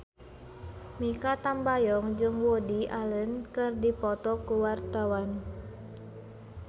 Mikha Tambayong jeung Woody Allen keur dipoto ku wartawan